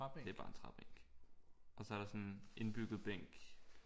Det er bare en træbænk og så er der sådan en indbygget bænk